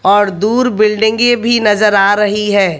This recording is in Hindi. और दूर बिल्डिंगे की भी नजर आ रही है।